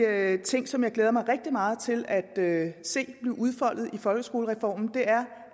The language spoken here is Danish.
af de ting som jeg glæder mig rigtig meget til at se blive udfoldet i folkeskolereformen